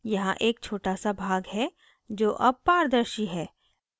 यहाँ एक छोटा सा भाग है जो अब पारदर्शी है